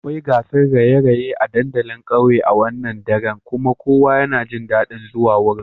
Akwai gasar raye-raye a dandalin kauye a wannan dare kuma kowa yana jin dadin zuwa wurin.